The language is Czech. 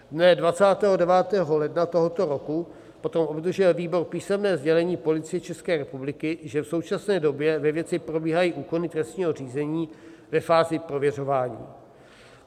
Dne 29. ledna tohoto roku potom obdržel výbor písemné sdělení Policie České republiky, že v současné době ve věci probíhají úkony trestního řízení ve fázi prověřování.